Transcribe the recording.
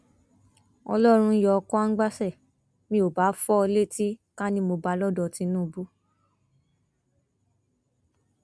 ọlọrun yọ kwangbaṣẹ mi ò bá fọ ọ létí ká ní mo bá a lọdọ tinubu